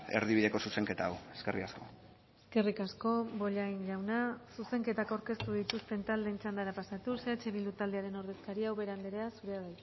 erdibideko zuzenketa hau eskerrik asko eskerrik asko bollain jauna zuzenketak aurkeztu dituzten taldeen txandara pasatuz eh bildu taldearen ordezkaria ubera andrea zurea